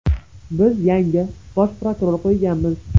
Biz yangi bosh prokuror qo‘yganmiz.